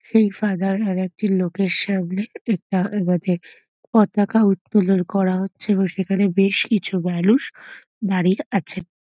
এই ফাদার আর একটি লোকের সামনে পতাকা উত্তোলন করা হচ্ছে এবং সেখানে বেশ কিছু মানুষ দাঁড়িয়ে আছেন।